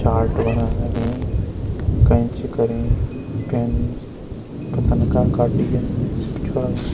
चाल्ट बनाण लगीं कैंची करीं पेन पतन का का डिजाईन सी भी छ्वारा बण्युं।